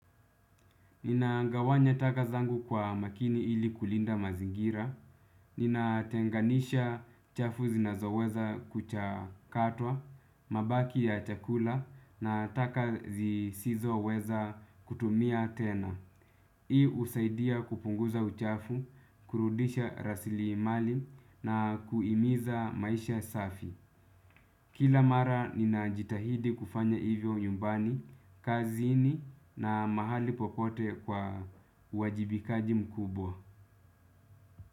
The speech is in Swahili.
Ninagawanya taka zangu kwa makini ili kulinda mazingira. Ninatenganisha chafu zinazoweza kuchakatwa, mabaki ya chakula na taka zisizoweza kutumia tena. Hii husaidia kupunguza uchafu, kurudisha rasili mali na kuhimiza maisha safi. Kila mara ninajitahidi kufanya hivyo nyumbani, kazini na mahali popote kwa uwajibikaji mkubwa.